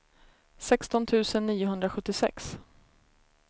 sexton tusen niohundrasjuttiosex